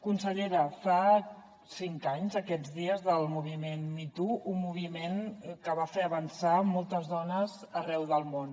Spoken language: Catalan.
consellera fa cinc anys aquests dies del moviment me too un moviment que va fer avançar moltes dones arreu del món